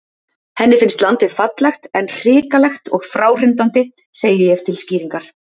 Henni finnst landið fallegt, en hrikalegt og fráhrindandi, segi ég til skýringar.